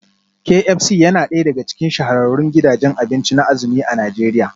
Kay Ep C yana daya daga cikin shahararrun gidajen abinci na azumi a Najeriya